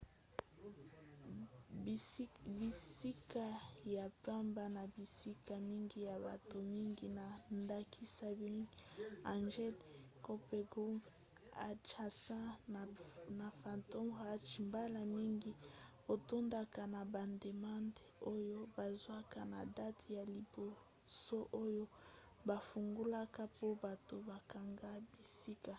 bisika ya pamba na bisika mingi ya bato mingi na ndakisa bright angel campground adjacent na phantom ranch mbala mingi etondaka na bademande oyo bazwaka na date ya liboso oyo bafungolaka po bato bakanga bisika